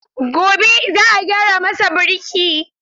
Gobe ​​za a gyara masa birki.